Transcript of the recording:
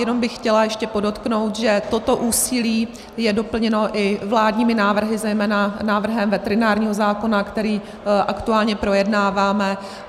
Jen bych chtěla ještě podotknout, že toto úsilí je doplněno i vládními návrhy, zejména návrhem veterinárního zákona, který aktuálně projednáváme.